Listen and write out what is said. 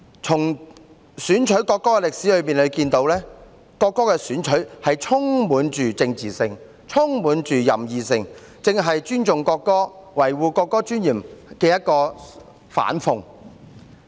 由選取國歌的歷史可見，國歌的選取充滿政治性、任意性，正是尊重國歌和維護國歌尊嚴的反諷。